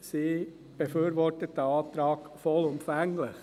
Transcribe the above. Sie befürwortet diesen Antrag vollumfänglich.